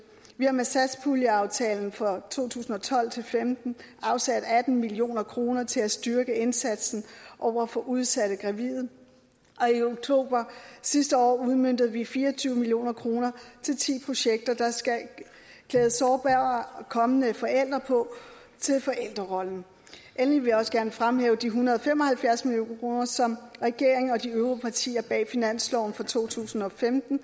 vi har med satspuljeaftalen for to tusind og tolv til femten afsat atten million kroner til at styrke indsatsen over for udsatte gravide og i oktober sidste år udmøntede vi fire og tyve million kroner til ti projekter der skal klæde sårbare kommende forældre på til forældrerollen endelig vil jeg også gerne fremhæve de en hundrede og fem og halvfjerds million kroner som regeringen og de øvrige partier bag finansloven for to tusind og femten